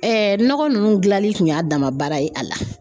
Ɛɛ nɔgɔ nunnu gilali kun y'a dama baara ye a la